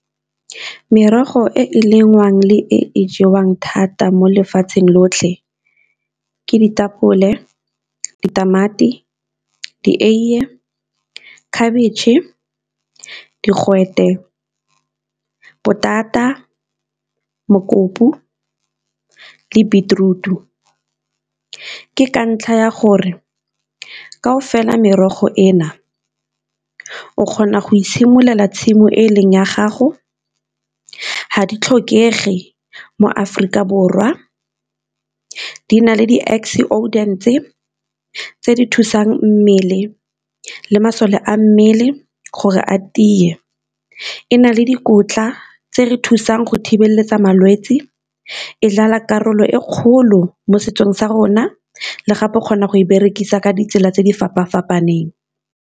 Merogo e e lengwang le e e jewang thata mo lefatsheng lotlhe ke ditapole, ditamati, dieiye, khabetšhe, digwete, potata, mokopu, le beetroot-u. Ke ka ntlha ya gore kao fela merogo e na o kgona go itshimololela tshimo e leng ya gago, ga di tlhokege mo Aforika Borwa, di na le tse di thusang mmele le masole a mmele gore a tiye, e na le dikotla tse re thusang go thibeletsa malwetse, e dlala karolo e kgolo mo setsong sa rona le gape o kgona go e berekisa ka ditsela tse di fapa-fapaneng.